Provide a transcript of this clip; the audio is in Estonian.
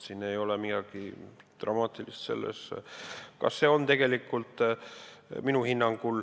Siin ei ole midagi dramaatilist.